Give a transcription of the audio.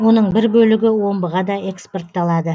оның бір бөлігі омбыға да экспортталады